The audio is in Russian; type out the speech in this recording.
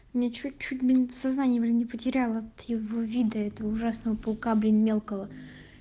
мне чуть-чуть блин сознание блин не потеряла от его вида этого ужасного паука блин мелкого